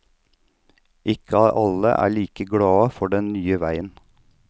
Ikke alle er like glade for den nye veien.